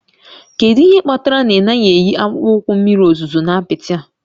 Kedu ihe kpatara na ị naghị eyi akpụkpọ ụkwụ mmiri ozuzo na apịtị a?